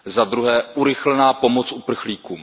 Za druhé urychlená pomoc uprchlíkům.